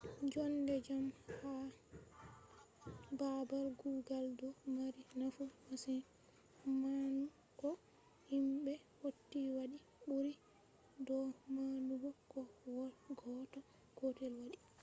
jonde jam ha baabal kugal ɗo mari nafu masin manu ko himɓe hauti wadi ɓuri do manugo ko goɗɗo gotel waɗi